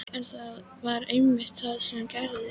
En það var einmitt það sem gerðist.